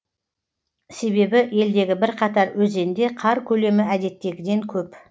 себебі елдегі бірқатар өзенде қар көлемі әдеттегіден көп